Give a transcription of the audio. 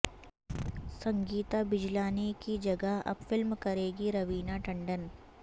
سنگیتا بجلانی کی جگہ اب فلم کریںگی روینہ ٹنڈن